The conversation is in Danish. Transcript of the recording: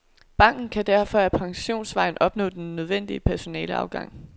Banken kan derfor ikke ad pensionsvejen opnå den nødvendige personaleafgang.